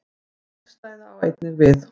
Hið gagnstæða á einnig við.